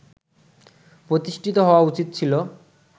প্রতিষ্ঠিত হওয়া উচিত ছিল